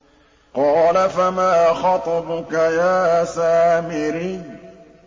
قَالَ فَمَا خَطْبُكَ يَا سَامِرِيُّ